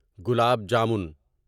gulab jamun